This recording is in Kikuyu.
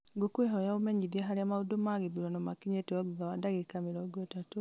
ngũkwĩhoya ũmenyithie harĩa maũndũ ma gĩthurano makinyĩte o thutha wa ndagĩka mĩrongo ĩtatũ